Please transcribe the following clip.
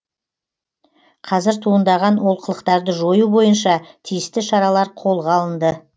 қазір туындаған олқылықтарды жою бойынша тиісті шаралар қолға алынды